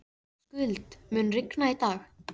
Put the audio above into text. Skuld, mun rigna í dag?